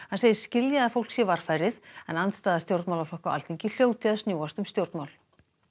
hann segist skilja að fólk sé varfærið en andstaða stjórnmálaflokka á Alþingi hljóti að snúast um stjórnmál